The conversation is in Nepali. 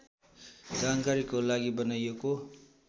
जानकारीको लागि बनाइएको